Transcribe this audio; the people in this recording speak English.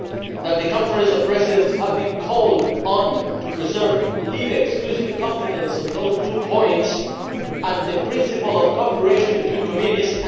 that the Conference of Presidents has been called on to preserve the LIBE Committee's exclusive competence on those two points and the principle of cooperation between committees.